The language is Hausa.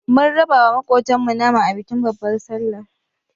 Mun raba wa maƙotan mu nama a bikin babbar sallar